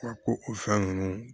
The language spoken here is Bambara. Wa ko o fɛn ninnu